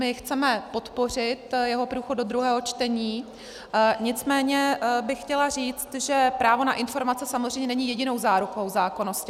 My chceme podpořit jeho průchod do druhého čtení, nicméně bych chtěla říct, že právo na informace samozřejmě není jedinou zárukou zákonnosti.